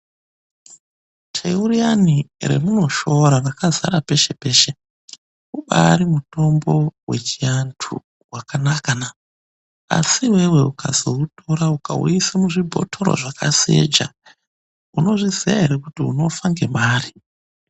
Teu riyani remunoshoora rakazara peshe peshe ubaari mutombo vechiantu wakanakana. Asi iwewe ukazoutora ukauise muzvibhotoro zvakaseja, unozviziya ere kuti unofa ngemare.